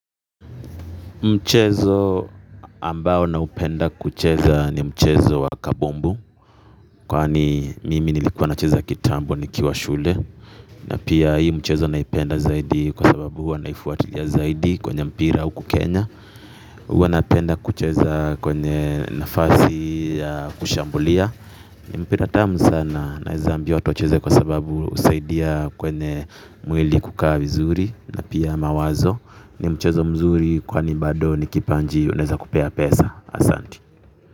Mchezo ambao naupenda kucheza ni mchezo wa kabombu kwani mimi nilikuwa nacheza kitambo nikiwa shule na pia hii mchezo naipenda zaidi kwa sababu huwa naifuatilia zaidi kwenye mpira huku Kenya huwa napenda kucheza kwenye nafasi ya kushambulia mpira tamu sana naeza ambia watu wacheze kwa sababu husaidia kwenye mwili kukaa vizuri na pia mawazo ni mchezo mzuri kwani bado ni kipaji unaeza kupea pesa asanti.